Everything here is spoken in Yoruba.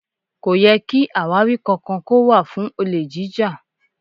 Kò yẹ ki àwáwí kankan kó wà fún olè jíjà.